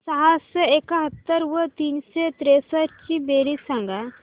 सहाशे एकाहत्तर व तीनशे त्रेसष्ट ची बेरीज सांगा